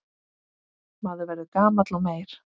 Maður verður gamall og meyr.